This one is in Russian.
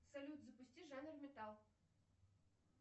салют запусти жанр металл